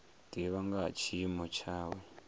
divha nga ha tshiimo tshawe